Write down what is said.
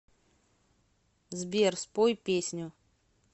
сбер спой песню